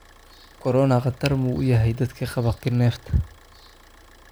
Korona khatar ma u yahay dadka qaba neefta?